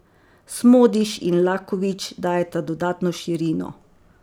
Smodiš in Lakovič dajeta dodatno širino.